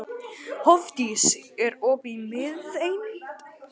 Hofdís, er opið í Miðeind?